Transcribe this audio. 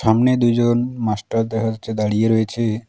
সামনে দুইজন মাস্টার দেখা যাচ্ছে দাঁড়িয়ে রয়েছে।